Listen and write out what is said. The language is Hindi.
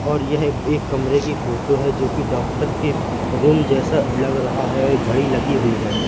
और यह एक कमरे की फोटो है जो कि डॉक्टर के रूम जैसा लग रहा है और एक घड़ी लगी हुई है।